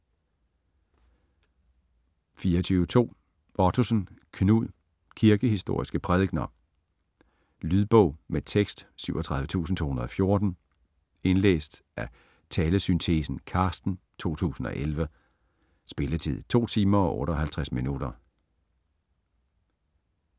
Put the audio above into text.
24.2 Ottosen, Knud: Kirkehistoriske prædikener Lydbog med tekst 37214 Indlæst af Talesyntesen Carsten, 2011. Spilletid: 2 timer, 58 minutter.